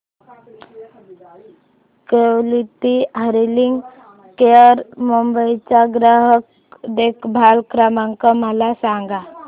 quality hearing care Mumbai चा ग्राहक देखभाल क्रमांक मला सांगा